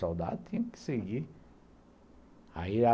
Soldado tinha que seguir. Aí